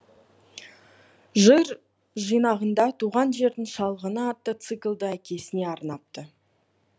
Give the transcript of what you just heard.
жыр жинағында туған жердің шалғыны атты циклді әкесіне арнапты